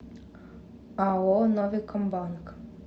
ао новикомбанк